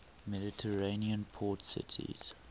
mediterranean port cities